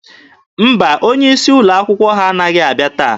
Mba, onye isi ụlọ akwụkwọ ha anaghị abịa taa.